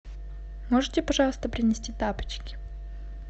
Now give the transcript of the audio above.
можете пожалуйста принести тапочки